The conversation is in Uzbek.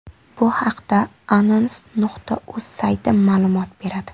Bu haqda anons.uz sayti ma’lumot beradi.